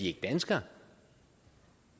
ikke danskere